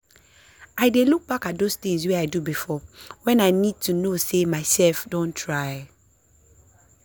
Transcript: i dey look back at those tinz wey i do before when i need to know sey myself don try.